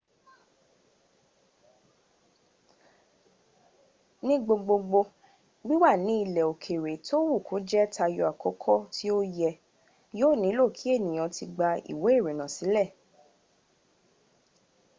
ní gbogbogbò wíwà ní ilẹ̀ òkèrè tówù kó jẹ́ tayọ àkókò tí ó yẹ yíò nílò kí ènìyàn ti gba ìwé ìrìnnà sílẹ̀